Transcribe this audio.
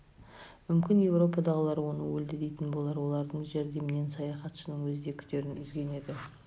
мүмкін еуропадағылар оны өлді дейтін болар олардың жәрдемінен саяхатшының өзі де күдерін үзген еді